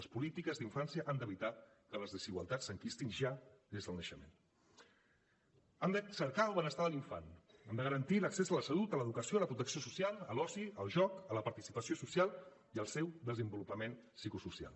les polítiques d’infància han d’evitar que les desigualtats s’enquistin ja des del naixement han de cercar el benestar de l’infant han de garantir l’accés a la salut a l’educació a la protecció social a l’oci al joc a la participació social i al seu desenvolupament psicosocial